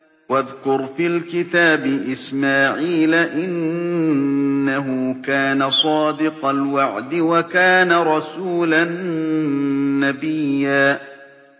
وَاذْكُرْ فِي الْكِتَابِ إِسْمَاعِيلَ ۚ إِنَّهُ كَانَ صَادِقَ الْوَعْدِ وَكَانَ رَسُولًا نَّبِيًّا